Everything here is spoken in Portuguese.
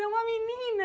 É uma menina!